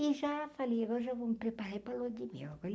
E já falei, hoje eu vou me preparar é para a lua de mel.